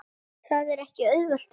Það er ekki auðvelt verk.